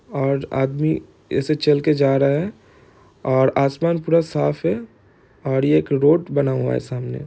और आदमी ऐसे चल के जा रहा है और आसमान पूरा साफ है और ये एक रोड बना हुआ है सामने--